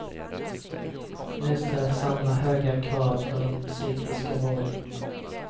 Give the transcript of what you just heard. Nu ställs samma höga krav på den psykiska vården.